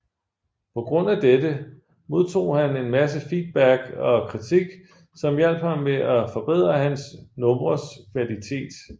På grund af dette modtog han en masse feedback og kritik som hjalp ham med at forbedre hans numres kvalitet